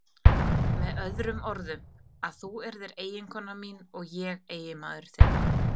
Með öðrum orðum: að þú yrðir eiginkona mín og ég eiginmaður þinn.